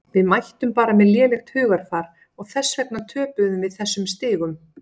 Við mættum bara með lélegt hugarfar og þess vegna töpuðum við þessum stigum.